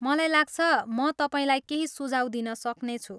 मलाई लाग्छ, म तपाईँलाई केही सुझाव दिन सक्नेछु।